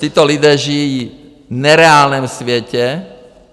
Tito lidé žijí v nereálném světě.